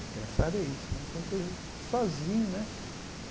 Engraçado é isso né, que era coisa sozinho né.